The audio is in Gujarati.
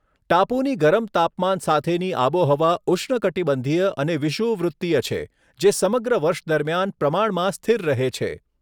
ટાપુની ગરમ તાપમાન સાથેની આબોહવા ઉષ્ણકટિબંધીય અને વિષુવવૃત્તીય છે, જે સમગ્ર વર્ષ દરમિયાન પ્રમાણમાં સ્થિર રહે છે.